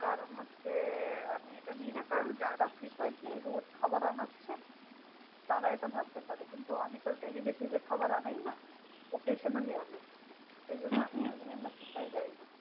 কারণ হচ্ছে আমি এটা নি না কারণ যারা frequently রোজ খাবার আনাচ্ছে তারা এটা ভাবতে পারে কিন্তু আমি তো daily basis এ খাবার আনাইনা occasionally আনাই। সেইজন্য এই membership টায় যাই না।